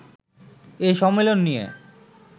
এ সম্মেলন নিয়ে